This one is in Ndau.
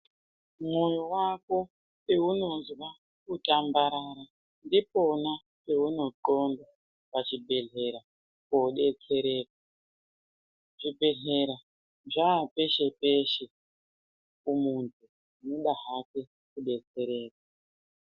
Mwoyo wako peunozwa kutambarara ndipona peunoxonda pachibhedhlera kodetsereka. Zvibhedhlera zvapeshe-peshe kumuntu unoda hake kudetsereka.